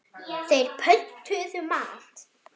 Þeir pöntuðu mat.